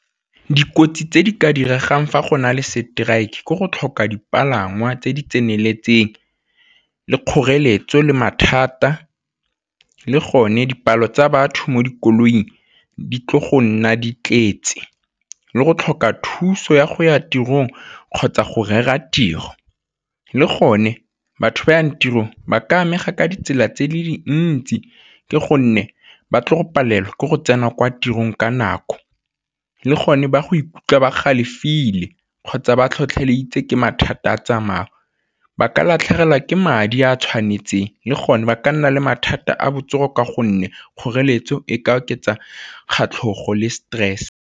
Dikotsi tse di ka diregang fa gona le strike ke go tlhoka dipalangwa tse di tseneletseng, le kgoreletso le mathata, le gone dipalo tsa batho mo dikoloing di tlile go nna di tletse, le go tlhoka thuso ya go ya tirong kgotsa go rera tiro. Le gone batho yang tirong ba ka amega ka ditsela tse di le dintsi ke gonne ba tlo go palelwa ke go tsena kwa tirong ka nako, le gone ba go ikutlwa ba galefile kgotsa ba tlhotlheleditse ke mathata a tsamao, ba ka latlhegelwa ke madi a tshwanetseng le gone ba ka nna le mathata a botsogo ka gonne kgoreletso e ka oketsa le stress.